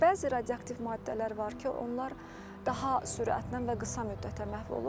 Bəzi radioaktiv maddələr var ki, onlar daha sürətlə və qısa müddətə məhv olur.